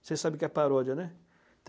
Vocês sabem o que é paródia, né?